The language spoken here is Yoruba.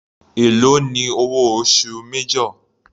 Èló ni owó oṣù major.